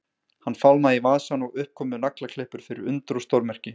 Hann fálmaði í vasann og upp komu naglaklippur fyrir undur og stórmerki.